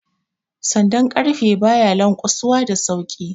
Sandan ƙarfe ba ya lanƙwasuwa da sauki